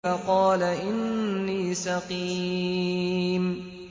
فَقَالَ إِنِّي سَقِيمٌ